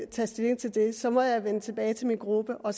tage stilling til det så må jeg vende tilbage til min gruppe og